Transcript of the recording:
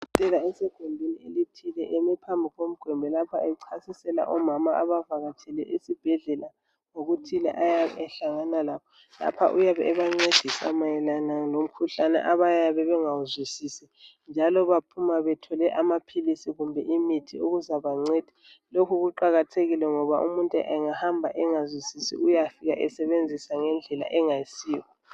udokotela esegumbini elithile eme phambi kogwembe lapha ecasisela omama avakatshele esibhedlela ngokuthile ayabe ehlangana lakho lapha uyabe ebancedisa mayelana lomkhuhlane abayabe bengawuswisisi njalobaphuma bethwele umithi kumbe amaphilizi okuzabanceda lokhu kuqakathekile ngoba umuntu engahamba engazwisisi uyafika esebenzisa ngendlela engayisiyo.